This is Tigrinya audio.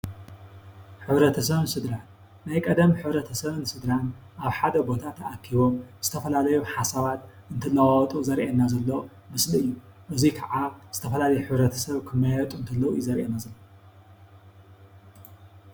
ሕብረተሰብን ሰድራን ናይ ቀደም ሕብረተሰብን ስድራን ኣብ ሓደ ቦታ ተኣኪቦም ዝተፈላለዩ ሓሳባት እንትላዋዎጡ ዘሪኤናዘሎ ምስሊ እዩ። እዙይ ከዓ ዝተፈላለዩ ሕብረተሰብ ክመያየጡ ከለው እዩ ዘሪኤና ዘሎ።